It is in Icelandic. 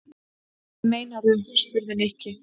Hvað meinarðu? spurði Nikki.